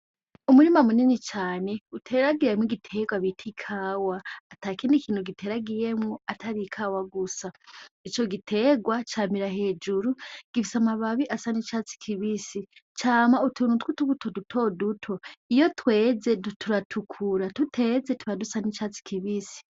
Umurima munini cane uteragiyemwo igiterwa biti ikawa ata kindi ikintu giteragiyemwo atari ikawa gusa ni co giterwa camira hejuru gifisa amababi asa n'icatsi kibisi cama utunutwi utuguto duto duto iyo tweze duturatukura tuteze tubadusa n'icatsi kibisi.